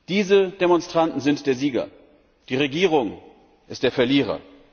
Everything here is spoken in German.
Diese Demonstranten sind der Sieger, die Regierung ist der Verlierer.